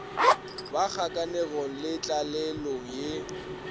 ba kgakanegong le tlalelong ye